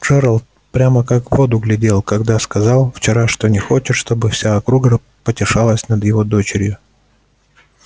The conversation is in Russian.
джералд прямо как в воду глядел когда сказал вчера что не хочет чтобы вся округа потешалась над его дочерью